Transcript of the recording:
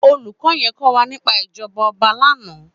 Ólúkò yèn kòwá nipá ijòbá òbá làná